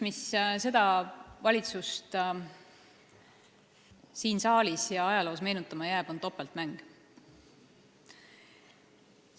Üks asi, mis seda valitsust siin saalis ja ajaloos meenutama jääb, on topeltmäng.